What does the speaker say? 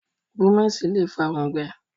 Búmẹ̀sì lé fàa òǹgbẹ